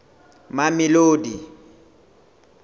mamelodi